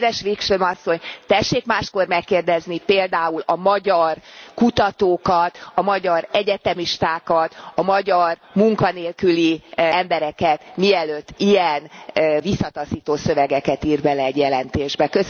Kedves Wikström Asszony, tessék máskor megkérdezni például a magyar kutatókat, a magyar egyetemistákat, a magyar munkanélküli embereket, mielőtt ilyen visszataszító szövegeket ír bele egy jelentésbe.